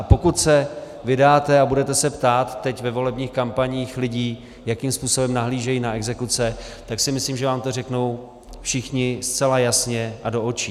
A pokud se vydáte a budete se ptát teď ve volebních kampaních lidí, jakým způsobem nahlížejí na exekuce, tak si myslím, že vám to řeknou všichni zcela jasně a do očí.